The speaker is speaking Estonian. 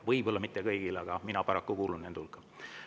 Võib-olla mitte kõigil, aga mina paraku kuulun nende hulka.